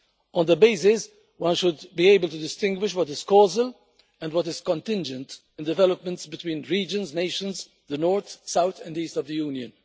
On that basis, one should be able to distinguish what is causal and what is contingent on developments between regions, nations, the North, South and East of the Union.